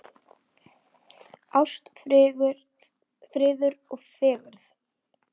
Ást, friður og fegurð.